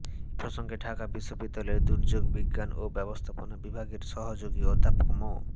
এ প্রসঙ্গে ঢাকা বিশ্ববিদ্যালয়ের দুর্যোগ বিজ্ঞান ও ব্যবস্থাপনা বিভাগের সহযোগী অধ্যাপক মো